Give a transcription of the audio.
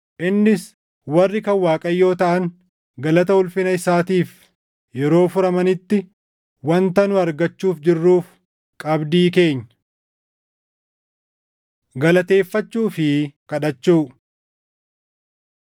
innis warri kan Waaqayyoo taʼan galata ulfina isaatiif yeroo furamanitti wanta nu argachuuf jirruuf qabdii keenya. Galateeffachuu fi Kadhachuu